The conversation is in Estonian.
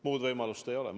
Muud võimalust ei ole!